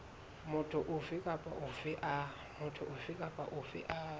motho ofe kapa ofe a